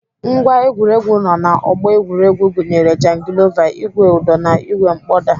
Ngwá egwuregwu nọ na ọgbọ egwuregwu gụnyere jangilova, ìgwè ụdọ na ìgwè mkpọda.